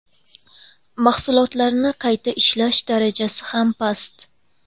Mahsulotlarni qayta ishlash darajasi ham past.